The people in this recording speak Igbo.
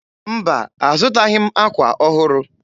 Mba, azụtaghị m ákwà ọhụrụ.